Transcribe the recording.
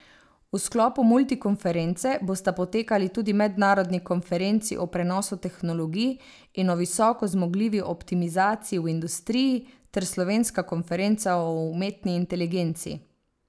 V sklopu multikonference bosta potekali tudi mednarodni konferenci o prenosu tehnologij in o visoko zmogljivi optimizaciji v industriji, ter slovenska konferenca o umetni inteligenci.